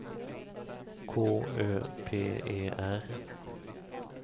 K Ö P E R